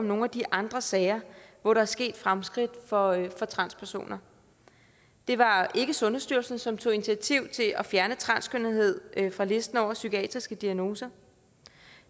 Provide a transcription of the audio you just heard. nogle af de andre sager hvor der er sket fremskridt for transpersoner det var ikke sundhedsstyrelsen som tog initiativ til at fjerne transkønnethed fra listen over psykiatriske diagnoser